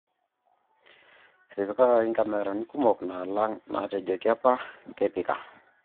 Etipikaki inkamerani kumok naalang' naatejoki apa kepika